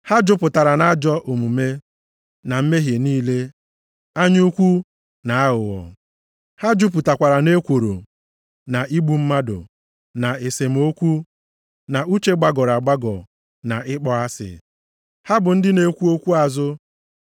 Ha jupụtara nʼajọ omume na mmehie niile, anya ukwu na aghụghọ. Ha jupụtakwara nʼekworo, na igbu mmadụ, na esemokwu, na uche gbagọrọ agbagọ na ịkpọ asị. Ha bụ ndị na-ekwu okwu azụ,